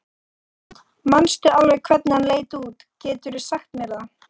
Hrund: Manstu alveg hvernig hann leit út, geturðu sagt mér það?